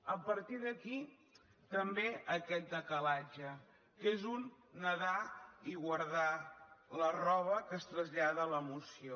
a partir d’aquí també aquest decalatge que és un nedar i guardar la roba que es trasllada a la moció